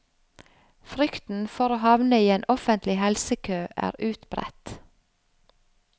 Frykten for å havne i en offentlig helsekø er utbredt.